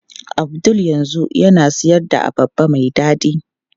Abdul yanzu yana siyar da abarba mai dadi.